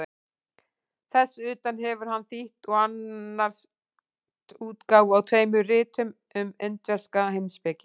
Þess utan hefur hann þýtt og annast útgáfu á tveimur ritum um indverska heimspeki.